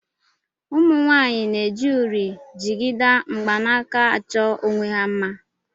Ụmụnwaanyị na-eji uri, jigida, mgbanaka achọ onwe ha mma